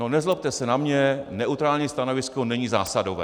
No nezlobte se na mě, neutrální stanovisko není zásadové.